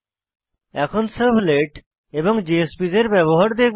এখন সার্ভলেট এবং জেএসপিএস এর ব্যবহার দেখব